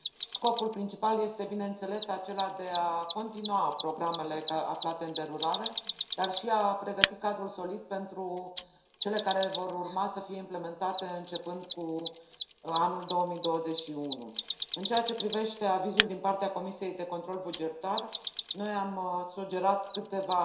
Scopul principal este, bineînțeles, acela de a continua programele aflate în derulare, dar și de a pregăti un cadru solid pentru cele care vor urma să fie implementate începând cu anul 2021. În ceea ce privește avizul din partea Comisiei pentru control bugetar, noi am sugerat câteva